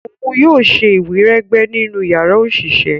òún yóò ṣe iwiregbe nínú yàrá oṣiṣẹ.